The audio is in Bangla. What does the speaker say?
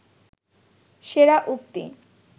সেরা উক্তি